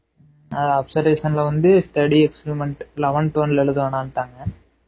ஆஹ் observation ல வந்து study experiment eleven twelve எழுத வேணாம்டாங்க